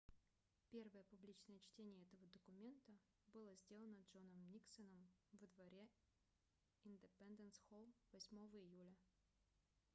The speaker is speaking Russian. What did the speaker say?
первое публичное чтение этого документа было сделано джоном никсоном во дворе индепенденс-холл 8 июля